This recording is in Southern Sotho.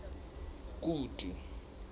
kutu